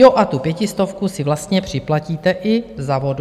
Jo, a tu pětistovku si vlastně připlatíte i za vodu.